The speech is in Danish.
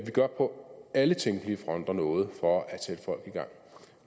vi gør på alle tænkelige fronter noget for at sætte folk i gang